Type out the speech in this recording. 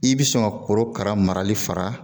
I bi sɔn ka korokara marali fara